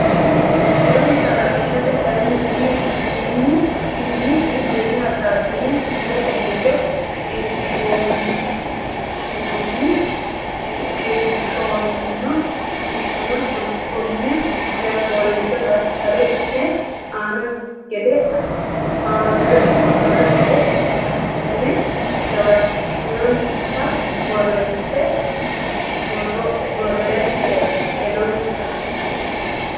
hedonsa halashshite kayinni umi nenni hasaabbanni kifilete giddo shiqishshanno tonne coy fooliishsho daftari ne aana gede assatenni jawaachishinsa borreesse hedonsa.